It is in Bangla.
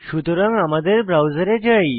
সুতরাং আমাদের ব্রাউজারে যাই